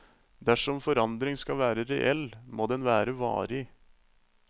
Dersom forandring skal være reell, må den være varig.